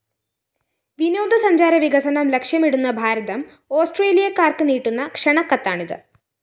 വിനോദസഞ്ചാര വികസനം ലക്ഷ്യമിടുന്ന ഭാരതം ഓസ്‌ട്രേലിയക്കാര്‍ക്ക് നീട്ടുന്ന ക്ഷണക്കത്താണിത്